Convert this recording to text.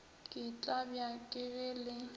ke tlabja ke ge le